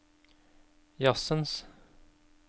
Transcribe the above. jazzens